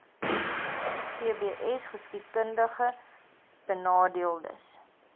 gbsgeskiedkundigbenadeeldes